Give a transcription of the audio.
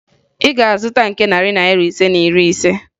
Ị ga-azụta nke narị Naira ise na iri ise?